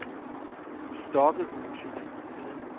Stokkehuse